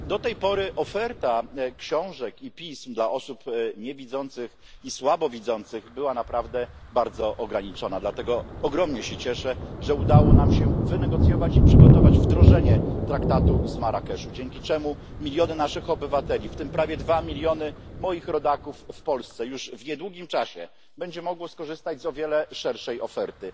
Do tej pory oferta książek i pism dla osób niewidzących i słabowidzących była naprawdę bardzo ograniczona, dlatego ogromnie się cieszę, że udało nam się wynegocjować i przygotować wdrożenie Traktatu z Marrakeszu, dzięki czemu miliony naszych obywateli, w tym prawie dwa miliony moich rodaków w Polsce, już w niedługim czasie będą mogły skorzystać z o wiele szerszej oferty.